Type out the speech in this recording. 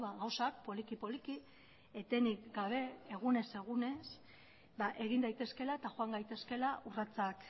gauzak poliki poliki etenik gabe eta egunez egunez egin daitezkeela eta joan gaitezkeela urratsak